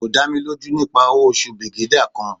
ko da mi loju nipa owo osu brigadier kan